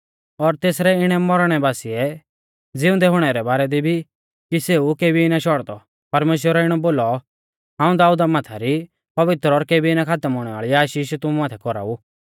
और तेसरै इणै मौरणै बासिऐ ज़िउंदै हुणै रै बारै दी भी कि सेऊ केभी ना शौड़दौ परमेश्‍वरै इणौ बोलौ हाऊं दाऊदा माथा री पवित्र और केबी ना खातम हुणै वाल़ी आशीष तुमु माथै कौराऊ